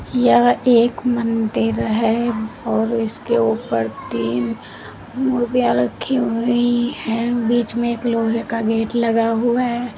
यह एक मंदिर है और इसके ऊपर तीन मूर्तियां रखी हुई है बीच में एक लोहे का गेट लगा हुआ है।